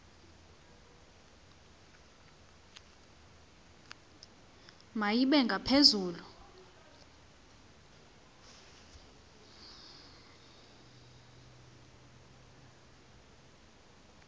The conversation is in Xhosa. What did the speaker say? ma ibe ngaphezulu